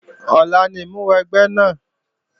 Ọ̀la ni ìmúwẹgbẹ́ náà